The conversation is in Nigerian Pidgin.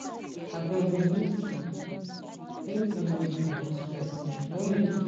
abeg make you make you no dey confuse pesin wen you dey tok.